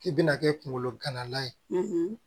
K'i bɛna kɛ kunkolo gana ye